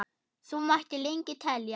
Svo mætti lengi telja.